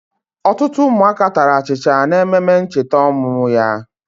Otutu umuaka tara achicha na ememe nchita omumu ya.